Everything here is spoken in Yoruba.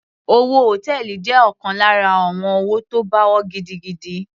Òwò hòtẹ́ẹ̀lì jẹ́ ọ̀kan lára àwọn òwò tó pawó gidigidi.